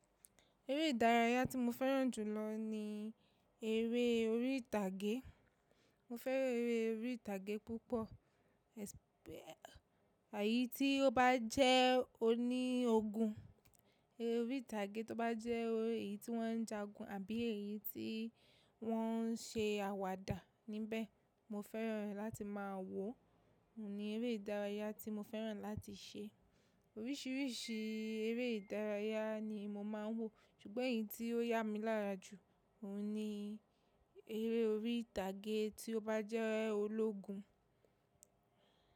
Eré ìdárayá tí mo fẹ́ràn jù lọ ní eré orí ìtàgé. Mo fẹ́ràn eré orí ìtàgé púpọ̀, ẹṣpẹ̀ eyí tí ó bá jẹ́ oní ogun. Eré orí ìtàgé tó bá jẹ́ èyí tí wọ́n ń jagun àbí èyí tí wọ́n ń se àwàdà níbẹ̀, mo fẹ́ràn rẹ̀ láti máa wò ó. Ó ní eré ìdárayá tí mo fẹ́ràn láti se. Orísìírísìí eré ìdárayá ni mo máa ń wò, ṣùgbọ́n èyí tí ó yá mi lára jù, òun ni eré orí ìtàgé tí ó bá jẹ́ ológun.